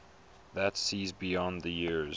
that sees beyond the years